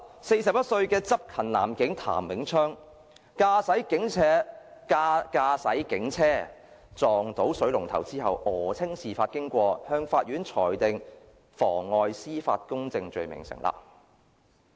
四十一歲的執勤男警譚永昌，駕駛警車撞到水龍頭後訛稱事發經過，法院裁定妨礙司法公正罪名成立。